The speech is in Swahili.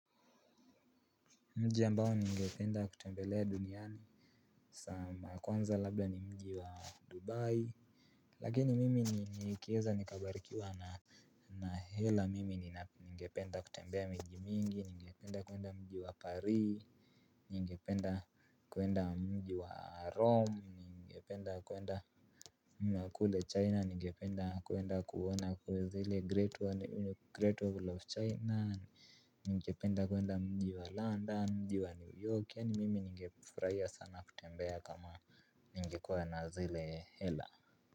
Mji ambao ningependa kutembelea duniani sa ya kwanza labda ni mji wa Dubai. Lakini mimi nikieza nikabarikiwa na na hela mimi ningependa kutembea miji mingi ningependa kuenda mji wa Pari. Ningependa kuenda mji wa Rome ningependa kuenda Makule China ningependa kuenda kuona kwanza ile great wall of china, ningependa kuenda mji wa London, mji wa New York, yaani mimi ningefurahia sana kutembea kama ningekuwa na zile hela.